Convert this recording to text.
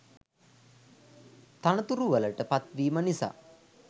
තනතුරු වලට පත් වීම නිසා